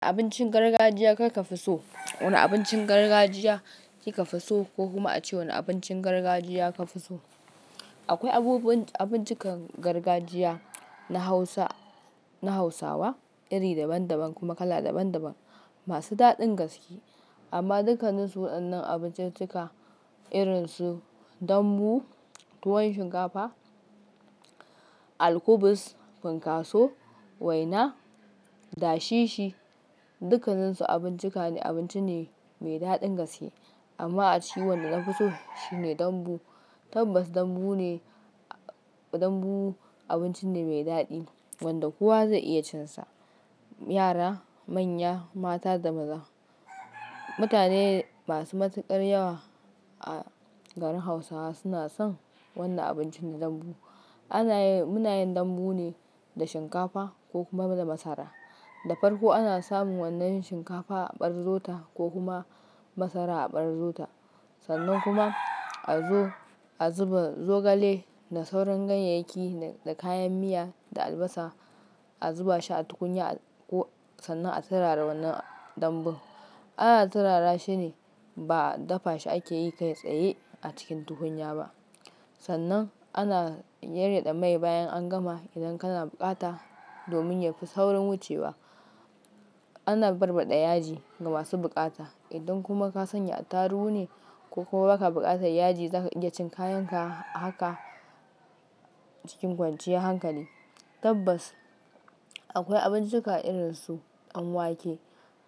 Abincin gargajiya kaka fi so. Wane abincin gargajiya kika fi so, ko kuma a ce wane abincin gargajiya ka fi so? Akwai abubuwan abinci gargajiya na Hausa, na Hausawa iri daban-daban kuma kala daban-daban masu daɗin gaske. Amma dukkaninsu waɗannan abinciccika irinsu dambu, tuwon shinkafa, alkubus, funkaso, waina, dashishi, dukkansu abincika ne, abinci ne mai daɗin gaske. Amma a ce wanda na fi so shine dambu. Tabbas dambu ne, dambu abinci ne mai daɗi wanda kowa zai iya cin sa. Yara, manya, mata da maza. Mutane masu matuƙar yawa a garin Hausawa suna son wannan abincin na dambu. Anayi, munayin dambu ne da shinkafa ko kuma da masara. Da farko ana samun wannan shinkafa a ɓarzo ta ko kuma masara a ɓarzo ta. Sannan kuma a zo, a zuba zogale da sauran ganyayyaki da kayan miya da albasa. A zuba shi a tukunya ko sannan a turara wannan dambu. Ana turara shi ne ba dafa shi ake yi kai tsaye a cikin tukunya ba. Sannan ana yaryada mai bayan an gama idan kana buƙata domin yafi saurin wucewa. Ana barbaɗa yaji ga masu buƙata. Idan kuma ka sanya attaruhu ne ko ka buƙatan yaji za ka iya cin kayan ka a haka cikin kwanciyar hankali. Tabbas akwai abinciccika irinsu danwake,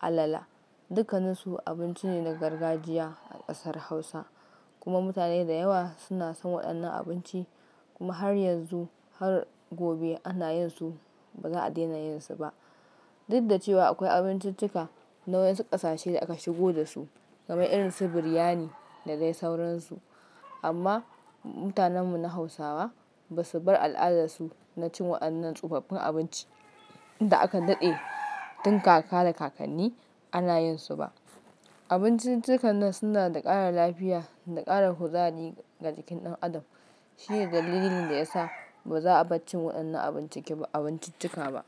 alala, dukkanansu abinci ne na gargajiya a ƙasar Hausa kuma mutane da yawa suna son waɗannan abinci. Kuma har yanzu har gobe ana yin su ba za a daina yin su ba. Dudda cewa akwai abinciccika na wayensu ƙasashe da aka shigo da su kamar irin su biryani da dai sauransu. Amma mutanen mu na Hausawa basu bar al'adar su na cin waɗannan tsofaffin abinci da aka daɗe tun kaka da kakanni ana yin su ba. Abinciccikan nan suna da ƙara lafiya da ƙara kuzari ga jikin ɗan adam. Shi ne dalilin da yasa ba za a bar cin waɗannan abinci ba, abinciccika ba.